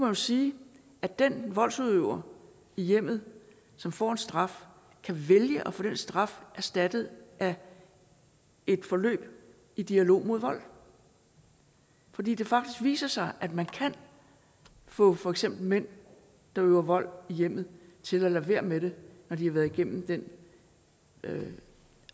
jo sige at den voldsudøver i hjemmet som får en straf kan vælge at få den straf erstattet af et forløb i dialog mod vold fordi det faktisk viser sig at man kan få for eksempel mænd der udøver vold i hjemmet til at lade være med det når de har været igennem den